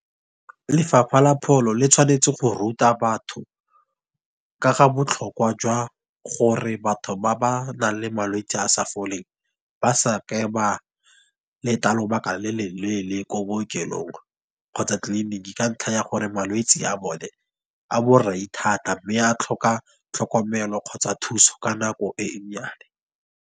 Lefapha la pholo le tshwanetse go ruta batho ka ga botlhokwa jwa gore, batho ba ba nang le malwetsi a sa foleng, ba sa ke ba leta lobaka le leleele ko bookelong, Kgotsa tleliniki. Ka ntlha ya gore malwetse a bone, a borai thata mme a tlhoka tlhokomelo kgotsa thuso ka nako e nnyane.